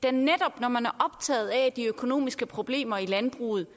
er netop når man er optaget af de økonomiske problemer i landbruget